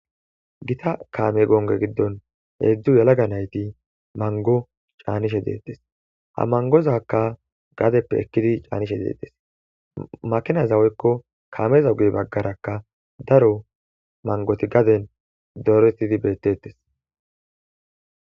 gita kaame gonge giddon heedzdzu yalaga nayti mango caanishe deettes ha mangozakka gadeppe ekkidi caanishe deetes makinazaweykko kaameza ugey baggarakka daro mangoti gaden doretidi bettettes